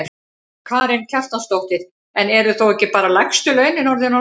Karen Kjartansdóttir: En eru þá ekki bara lægstu launin orðin of lág?